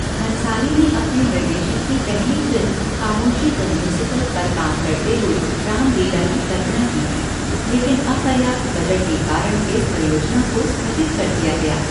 भंसाली ने अपने निर्देशन की पहली फ़िल्म 'खामोशीः द म्यूज़िकल' पर काम करते हुए 'राम लीला' की कल्पना की थी, लेकिन अपर्याप्त बजट के कारण इस परियोजना को स्थगित कर दिया गया।